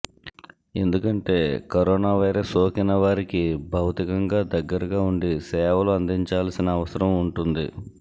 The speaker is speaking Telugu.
ఎందుకంటే కరోనా వైరస్ సోకిన వారికి భౌతికంగా దగ్గరగా ఉండి సేవలు అందించాల్సిన అవసరం ఉంటుంది